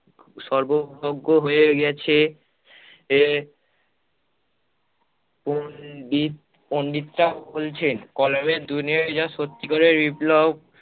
সর্বভোগ্য হয়ে গেছে, হে পন্ডিত পন্ডিতরা বলছেন কলমের দুনিয়ায় যা সত্যিকারের বিপ্লব